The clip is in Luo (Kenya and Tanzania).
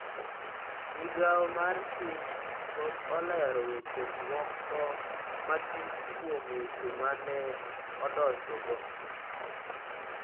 Migao mar Chik pok olero weche moko matut kuom weche ma ne odonjogo.